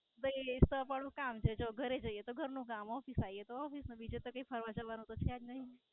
ભઈ એ જ તો અમારું કામ છે. જો ઘરે જઇયે તો ઘર નું કામ Office આઇયે તો Office નું બીજું તો કઈ ફરવા જવાનું તો જ નાઈ.